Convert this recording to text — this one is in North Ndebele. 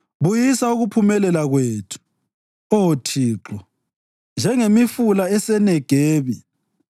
Buyisa ukuphumelela kwethu, Oh Thixo, njengemifula eseNegebi.